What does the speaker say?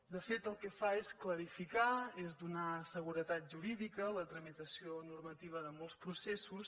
de fet el que fa és clarificar és donar seguretat jurídica la tramitació normativa de molts processos